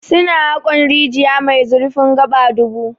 Su na haƙon rijiya mai zurfin gaba dubu.